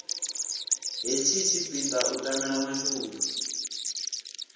hetshi tshipiḓa u tamela mashudu